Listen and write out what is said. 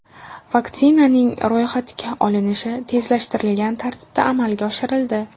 Vaksinaning ro‘yxatga olinishi tezlashtirilgan tartibda amalga oshirildi.